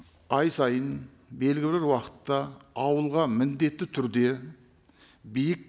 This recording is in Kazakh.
ай сайын белгілі бір уақытта ауылға міндетті түрде биік